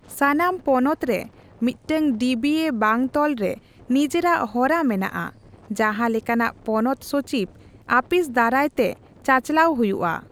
ᱥᱟᱱᱟᱢ ᱯᱚᱱᱚᱛ ᱨᱮ ᱢᱤᱫᱴᱟᱝ ᱰᱤᱹᱵᱤᱹᱮᱹ ᱵᱟᱝᱛᱚᱞ ᱨᱮ ᱱᱤᱡᱮᱨᱟᱜ ᱦᱚᱨᱟ ᱢᱮᱱᱟᱜᱼᱟ, ᱡᱟᱦᱟᱸ ᱞᱮᱠᱟᱱᱟᱜ ᱯᱚᱱᱚᱛ ᱥᱚᱪᱤᱵ ᱟᱹᱯᱤᱥ ᱫᱟᱨᱟᱭ ᱛᱮ ᱪᱟᱪᱟᱞᱟᱣ ᱦᱩᱭᱩᱜᱼᱟ ᱾